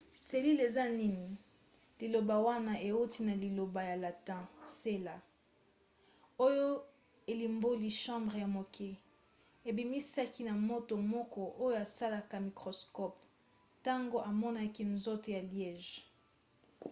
selile eza nini? liloba wana euti na liloba ya latin cella oyo elimboli chambre ya moke ebimisamaki na moto moko oyo asalaki microscope ntango amonaki nzoto ya liège